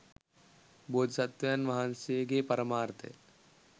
බෝධි සත්වයන් වහන්සේගේ පරමාර්ථය